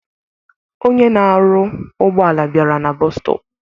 Onye na-arụ ụgbọala bịara na bọọsu stọp.